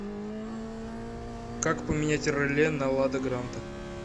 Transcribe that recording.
как поменять реле на лада гранта